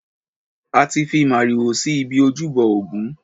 A ti fi màrìwò si ibi ojúbọ ògún.